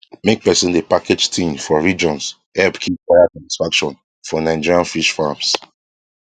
make person dey package thing for regions help keep buyer satisfaction for nigerian fish farms